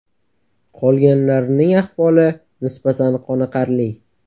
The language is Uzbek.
Qolganlarining ahvoli nisbatan qoniqarli.